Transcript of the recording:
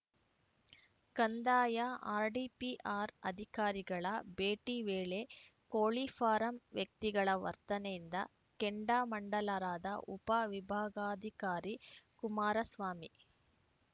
ಕಂದಾಯ ಆರ್‌ಡಿಪಿಆರ್‌ ಅಧಿಕಾರಿಗಳ ಭೇಟಿ ವೇಳೆ ಕೋಳಿ ಫಾರಂ ವ್ಯಕ್ತಿಗಳ ವರ್ತನೆಯಿಂದ ಕೆಂಡಾಮಂಡಲರಾದ ಉಪ ವಿಭಾಗಾಧಿಕಾರಿ ಕುಮಾರಸ್ವಾಮಿ